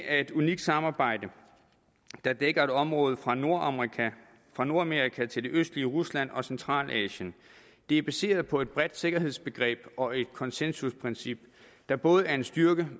er et unikt samarbejde der dækker et område fra nordamerika fra nordamerika til det østlige rusland og centralasien det er baseret på et bredt sikkerhedsbegreb og et konsensusprincip der både er en styrke